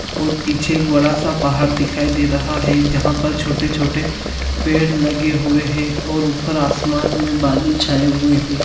और पीछे एक बड़ा सा पहाड़ दिखाई दे रहा है जहाँ पर छोटे-छोटे पेड़ लगे हुए है और ऊपर आसमान में बदल छाये हुए है।